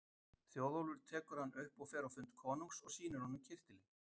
Þjóðólfur tekur hann upp og fer á fund konungs og sýnir honum kyrtilinn.